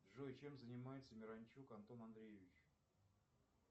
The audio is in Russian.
джой чем занимается миранчук антон андреевич